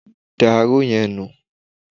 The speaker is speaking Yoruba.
Da aró yẹn nù!